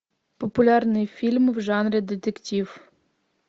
популярные фильмы в жанре детектив